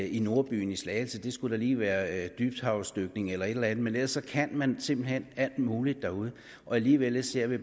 i nordbyen i slagelse det skulle da lige være dybthavsdykning eller et eller andet men ellers kan man simpelt hen alt muligt derude og alligevel ser vi